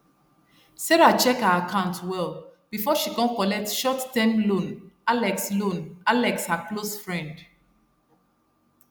serah check her account well before she kon collect short term loan alex loan alex her close friend